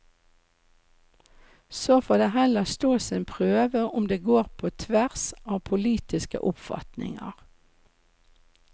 Så får det heller stå sin prøve om de går på tvers av politiske oppfatninger.